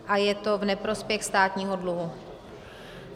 A je to v neprospěch státního dluhu.